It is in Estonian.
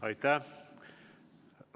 Aitäh!